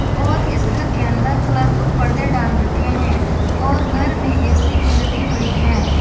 और इस घर के अंदर कलरफुल पर्दे डाल रखे हैं और घर में ए_सी भी लगी हुई है।